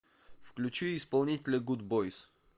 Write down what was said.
включи исполнителя гудбойз